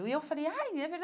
E eu falei, ai, é